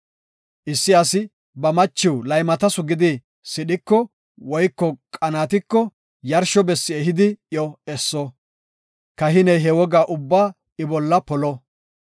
“Issi asi ba machiw laymatasu gidi sidhiko woyko qaanatiko yarsho bessi ehidi iyo esso. Kahiney he wogaa ubbaa I bolla polo.